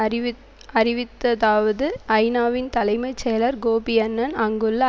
அறிவி அறிவித்ததாவது ஐநாவின் தலைமை செயலர் கோபி அன்னன் அங்குள்ள